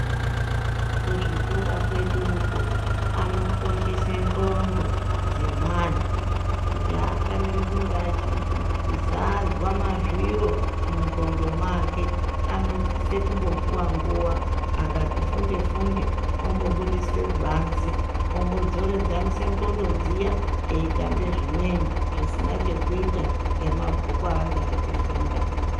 Kuzvikora kweduko anokoshese ndxondo dzemwana kuti afaniri kunge echizadzwa mazviro mundxondo make anosise kumbopuwa nguwa akati funde-funde ombobuduswe kubanze ombodzoredzanise ndxondo dziya eitambe zvimweni zvisina chekuita ngemabhuku anga echifunda.